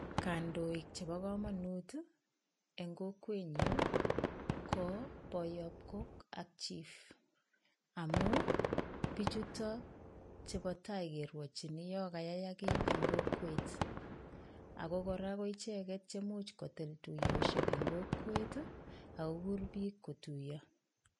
Kandoik chebokomonut en kokwenyun ko boyob kok ak chief amun bichuton ko chetaa kerwochin yoon kayayak kii en kokwet ak ko kora ko icheket cheimuche kotil tuyoshek en kokwet ak kokur biik kotuyo.